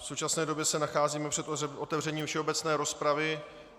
V současné době se nacházíme před otevřením všeobecné rozpravy.